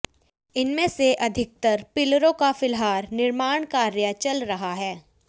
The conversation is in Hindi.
इनमें से अधिकतर पिलरों का फिलहाल निर्माण कार्य चल रहा है